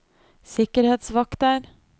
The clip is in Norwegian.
sikkerhetsvakter